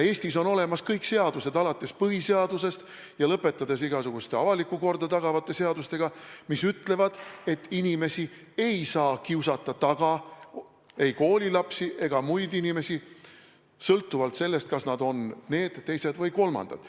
Eestis on olemas kõik seadused alates põhiseadusest ja lõpetades igasuguste avalikku korda tagavate seadustega, mis ütlevad, et inimesi ei saa kiusata taga, ei koolilapsi ega muid inimesi, sõltuvalt sellest, kas nad on need, teised või kolmandad.